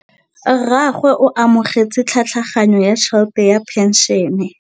Rragwe o amogetse tlhatlhaganyô ya tšhelête ya phenšene.